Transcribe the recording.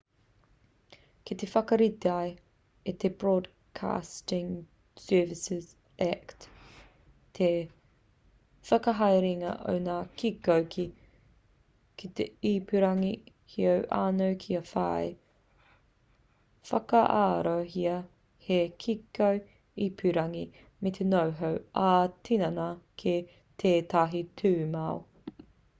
kei te whakaritea e te broadcasting services act te whakahaerenga o ngā kiko ki te ipurangi heoi anō kia whai whakaarohia hei kiko ipurangi me noho ā-tinana ki tētahi tūmau